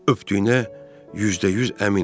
Öpdüyünə yüzdə yüz əminəm.